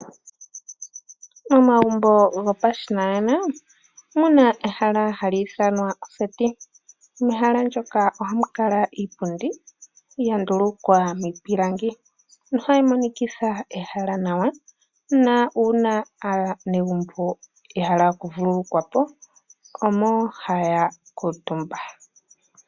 Momagumbo gopashinanena omu na ehala tali ithanwa oseti. Mehala ndyoka ohamu kala iipundi ya ndulukwa miipilangi nohali monikitha ehala nawa nuuna aanegumbo ya hala oku vululukwa po omo haya kuutumba.